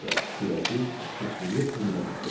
Kürəcik sıçrayıb xanaya düşdü.